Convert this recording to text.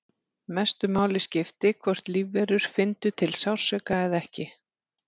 Mestu máli skipti hvort lífverur fyndu til sársauka eða ekki.